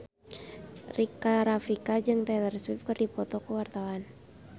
Rika Rafika jeung Taylor Swift keur dipoto ku wartawan